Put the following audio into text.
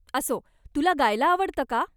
असो, तुला गायला आवडतं का?